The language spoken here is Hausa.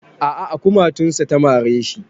A a a kumatunsa ta mare shi.